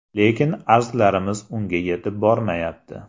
Lekin arzlarimiz unga yetib bormayapti.